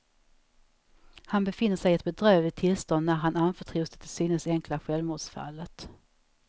Han befinner sig i ett bedrövligt tillstånd när han anförtros det till synes enkla självmordsfallet.